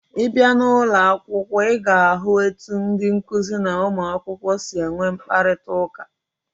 Ị bịa n'ụlọ akwụkwọ, ị ga-ahụ etu ndị nkụzi na ụmụakwụkwọ si enwe mkparịtaụka.